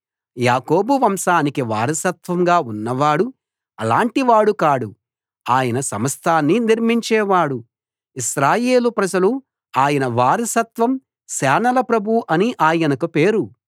యాకోబు వంశానికి వారసత్వంగా ఉన్నవాడు అలాంటి వాడు కాడు ఆయన సమస్తాన్నీ నిర్మించేవాడు ఇశ్రాయేలు ప్రజలు ఆయన వారసత్వం సేనల ప్రభువు అని ఆయనకు పేరు